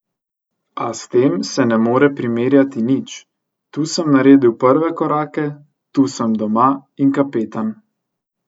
A s tem se ne more primerjati nič, tu sem naredil prve korake, tu sem doma in kapetan.